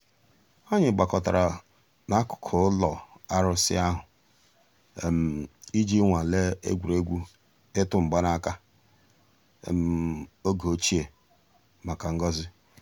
ànyị̀ gbàkọ̀tárà n'àkùkò ǔlọ̀ àrụ̀sị̀ àhụ̀ íjì nwàlè ègwè́ré́gwụ̀ ị̀tụ̀ mgbànàkà ògè òchìè mǎká ngọ́zị̀.